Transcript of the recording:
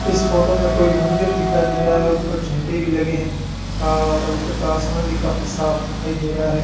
इस फोटो में कोई मंदिर दिखाई दे रहा है ऊपर झंडे भी लगे हैं अ और ऊपर का आसमान भी काफी साफ दिखाई दे रहा है।